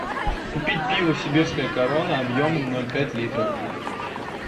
купить пиво сибирская корона объемом ноль пять литра